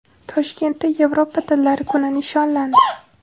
Toshkentda Yevropa tillari kuni nishonlandi.